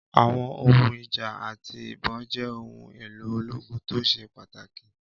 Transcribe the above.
Àwọn ohun ìjà àti ìbọn jẹ́ ohun èlò ológun tó ṣe pàtàkì.